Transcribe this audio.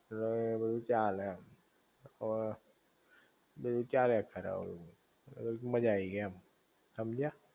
ઍટલે બધુ ચાલે એમ બધુ ચાલ્યા કરે આવું, મજા આઈ ગઈ એમ, હમજયા?